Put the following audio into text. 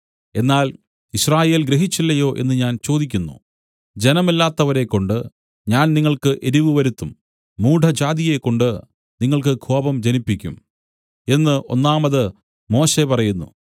എന്നാൽ യിസ്രായേൽ ഗ്രഹിച്ചില്ലയോ എന്നു ഞാൻ ചോദിക്കുന്നു ജനമല്ലാത്തവരെക്കൊണ്ട് ഞാൻ നിങ്ങൾക്ക് എരിവുവരുത്തും മൂഢജാതിയെക്കൊണ്ട് നിങ്ങൾക്ക് കോപം ജനിപ്പിക്കും എന്നു ഒന്നാമത് മോശെ പറയുന്നു